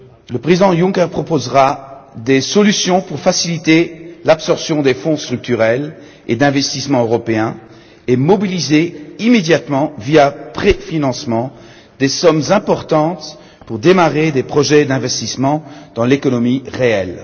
Le président Juncker proposera des solutions pour faciliter l'absorption des Fonds structurels et d'investissement européens et mobiliser immédiatement, via un préfinancement, des sommes importantes pour démarrer des projets d'investissement dans l'économie réelle.